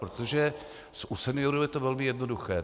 Protože u seniorů je to velmi jednoduché.